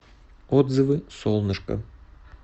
отзывы солнышко